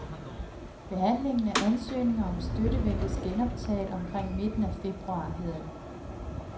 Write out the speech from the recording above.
Behandlingen af ansøgninger om støtte ventes genoptaget omkring midten af februar, hedder det.